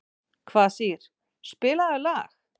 Kvasir, spilaðu lag.